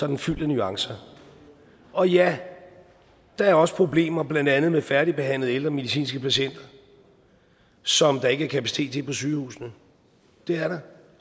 den fyldt med nuancer og ja der er også problemer blandt andet med færdigbehandlede ældre medicinske patienter som der ikke er kapacitet til på sygehusene